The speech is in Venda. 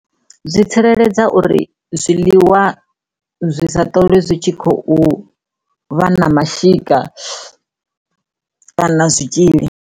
Zwi tsireledze uri zwiliwa zwi sa ṱolwe zwi tshi khou vha na mashika kana zwitzhili.